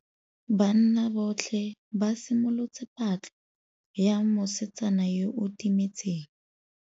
Banna botlhê ba simolotse patlô ya mosetsana yo o timetseng.